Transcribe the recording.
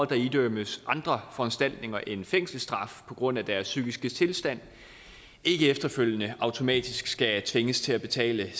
der idømmes andre foranstaltninger end fængselsstraf på grund af deres psykiske tilstand ikke efterfølgende automatisk skal tvinges til at betale